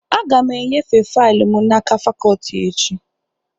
Aga m enyefe faịlụ m n'aka fakọtị echi